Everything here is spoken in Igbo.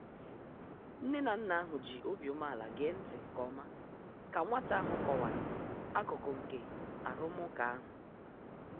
Nne na nna ahụ ji obi umeala gee ntị nke ọma ka nwata ahụ kọwara akụkụ nke arụmụka ahụ.